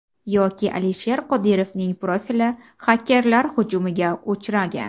Yoki Alisher Qodirovning profili xakerlar hujumiga uchragan.